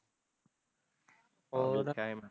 ਹੋਰ